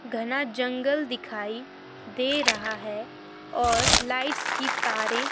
घना जंगल दिखाई दे रहा है और लाइट्स की तारें--